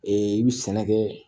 i bɛ sɛnɛ kɛ